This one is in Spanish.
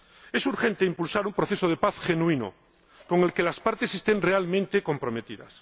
Es urgente impulsar un proceso de paz genuino, con el que las partes estén realmente comprometidas.